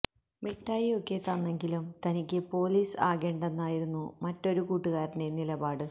മിഠായി ഒക്കെ തന്നെങ്കിലും തനിക്ക് പൊലീസ് ആകേണ്ടെന്നായിരുന്നു മറ്റൊരു കൂട്ടുകാരന്റെ നിലപാട്